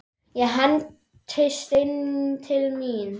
Ég hendist inn til mín.